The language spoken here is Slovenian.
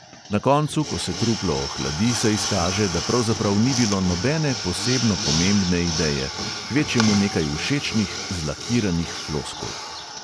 Na koncu, ko se truplo ohladi, se izkaže, da pravzaprav ni bilo nobene posebno pomembne ideje, kvečjemu nekaj všečnih, zlakiranih floskul.